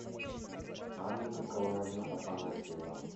анна николаевна афанасьева